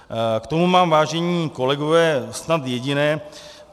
K tomu mám, vážení kolegové, snad jediné.